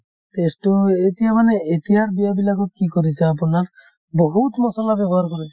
test তো এ এতিয়া মানে এতিয়াৰ বিয়াবিলাকত কি কৰিছে আপোনাৰ বহুত মছলা ব্যৱহাৰ কৰে